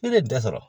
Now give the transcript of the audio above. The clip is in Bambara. Ne bɛ bɛɛ sɔrɔ